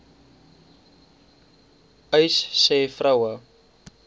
uys sê vroue